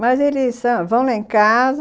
Mas eles são, vão lá em casa.